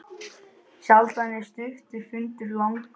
Sjaldan er stuttur fundur langur.